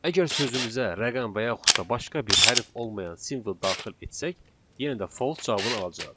Əgər sözümüzə rəqəm və yaxud da başqa bir hərf olmayan simvol daxil etsək, yenə də false cavabını alacağıq.